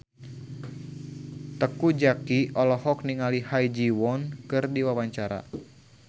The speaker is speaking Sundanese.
Teuku Zacky olohok ningali Ha Ji Won keur diwawancara